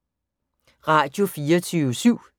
Radio24syv